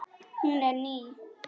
Hún er ný.